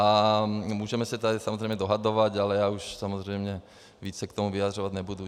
A můžeme se tady samozřejmě dohadovat, ale já už samozřejmě víc se k tomu vyjadřovat nebudu.